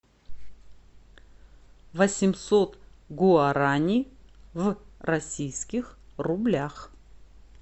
восемьсот гуарани в российских рублях